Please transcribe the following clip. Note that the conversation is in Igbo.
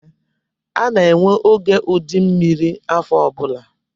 A na-enwe oge ụdị mmiri afọ ọbụla